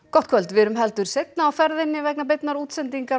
gott kvöld við erum heldur seinna á ferðinni vegna beinnar útsendingar